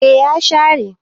eh ya share